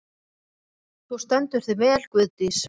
Þú stendur þig vel, Guðdís!